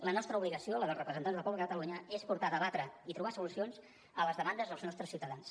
la nostra obligació la dels representants del poble de catalunya és portar a debatre i trobar solucions a les demandes dels nostres ciutadans